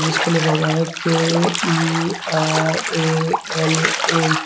इसपे लिखा हुआ है के_इ_आर_ए_एल_ए ।